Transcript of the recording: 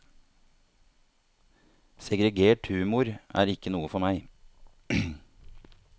Segregert humor er ikke noe for meg.